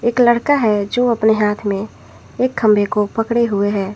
एक लड़का है जो अपने हाथ में एक खंभे को पकड़े हुए हैं।